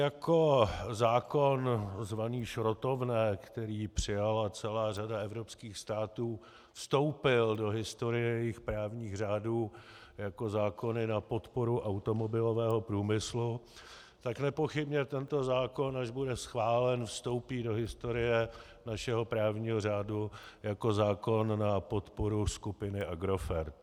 Jako zákon zvaný šrotovné, který přijala celá řada evropských států, vstoupil do historie jejich právních řádů jako zákon na podporu automobilového průmyslu, tak nepochybně tento zákon, až bude schválen, vstoupí do historie našeho právního řádu jako zákon na podporu skupiny Agrofert.